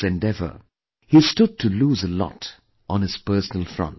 In this endeavour, he stood to lose a lot on his personal front